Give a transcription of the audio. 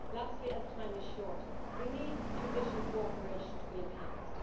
Lastly, as time is short we need judicial cooperation to be enhanced.